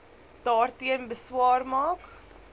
daarteen beswaar maak